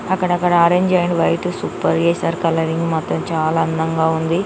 అక్కడక్కడ orange and white super చేశారు. Colouring మాత్రం చాలా అందంగా ఉంది.